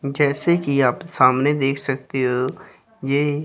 जैसे कि आप सामने देख सकते हो ये--